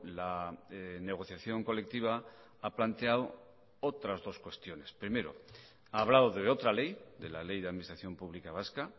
la negociación colectiva ha planteado otras dos cuestiones primero ha hablado de otra ley de la ley de administración pública vasca